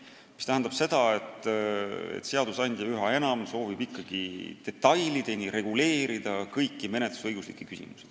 See tähendab seda, et seadusandja soovib üha enam detailideni reguleerida kõiki menetlusõiguslikke küsimusi.